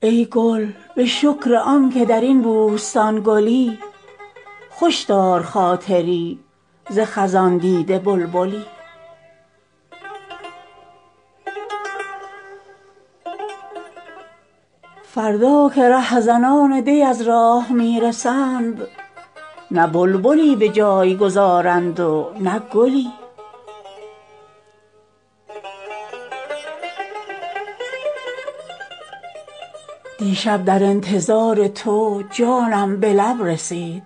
ای گل به شکر آنکه در این بوستان گلی خوش دار خاطری ز خزان دیده بلبلی فردا که رهزنان دی از راه میرسند نه بلبلی به جای گذارند و نه گلی دیشب در انتظار تو جانم به لب رسید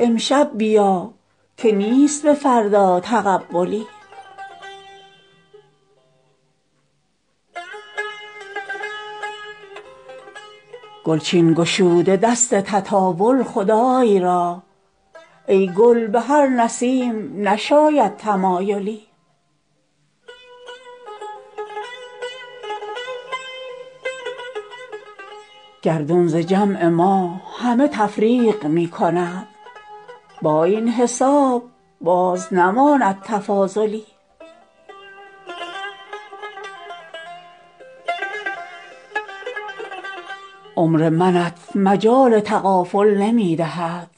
امشب بیا که نیست به فردا تقبلی گلچین گشوده دست تطاول خدای را ای گل بهر نسیم نشاید تمایلی خورشید و مه دو کفه شاهین عبرتند بنگر که نیست طبع فلک را تعادلی گردون ز جمع ما همه تفریق می کند با این حساب باز نماند تفاضلی عمر منت مجال تغافل نمی دهد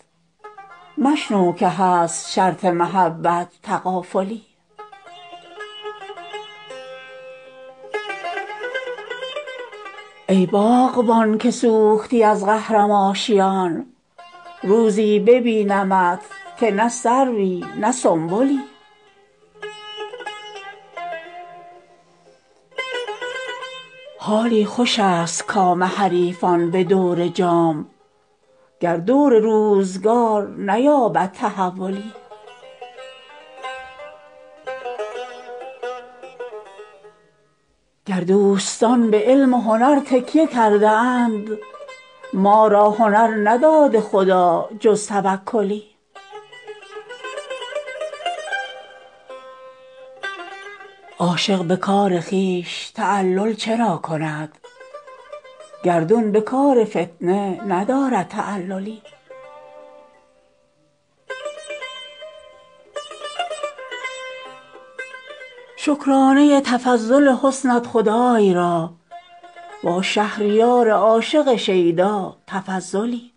مشنو که هست شرط محبت تغافلی ای باغبان که سوختی از قهرم آشیان روزی ببینمت که نه سروی نه سنبلی حالی خوش است کام حریفان به دور جام گر دور روزگار نیابد تحولی تا ساز در کف تو و سوزی به دل مراست دستی به هم خوش است و در آفاق غلغلی یارب که دور دردکشان بر دوام باد چندان که هست دور فلک را تسلسلی گر دوستان به علم و هنر تکیه کرده اند ما را هنر نداده خدا جز توکلی عاشق به کار خویش تعلل چرا کند گردون به کار فتنه ندارد تعللی شکرانه تفضل حسنت خدای را با شهریار عاشق شیدا تفضلی